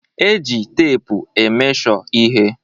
E ji teepu e mesho ihe.